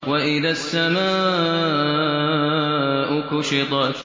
وَإِذَا السَّمَاءُ كُشِطَتْ